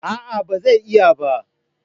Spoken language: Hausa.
A'a ba zai iya ba